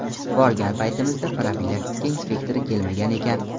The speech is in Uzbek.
Borgan paytimizda profilaktika inspektori kelmagan ekan.